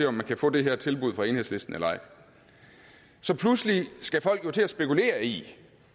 om man kan få det her tilbud fra enhedslisten eller ej så pludselig skal folk til at spekulere i